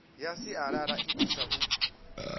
ya sialala i thusa u